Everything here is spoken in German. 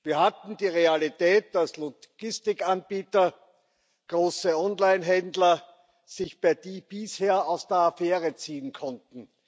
Wir hatten die Realität, dass Logistikanbieter, große Onlinehändler sich bisher aus der Affäre ziehen konnten.